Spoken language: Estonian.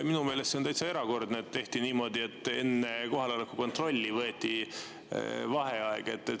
Minu meelest see on täitsa erakordne, et tehti niimoodi, et enne kohaloleku kontrolli võeti vaheaeg.